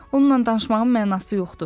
Onunla danışmağın mənası yoxdur.